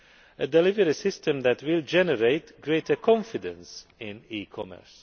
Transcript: a delivery system that will generate greater confidence in e commerce.